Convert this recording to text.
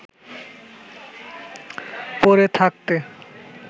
পড়ে থাকতে